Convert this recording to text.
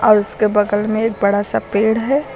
और उसके बगल में एक बड़ा सा पेड़ है।